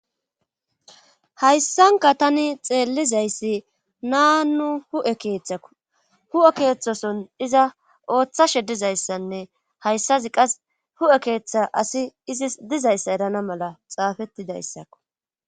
hayssanka tani xeellizayssi naa nu hu7e keeththako hu7e keeththoson iza ooththashe dizayssanne hayssazi qas hu7e keeththa asi izis dizayssa erana mala xaafettidayssakko